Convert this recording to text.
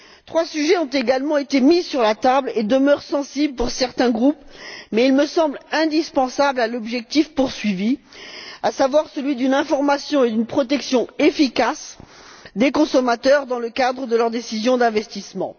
Trois sujets ont également été mis sur la table et demeurent sensibles pour certains groupes, mais ils me semblent indispensables à l'objectif poursuivi, à savoir celui d'une information et d'une protection efficace des consommateurs dans le cadre de leur décision d'investissement.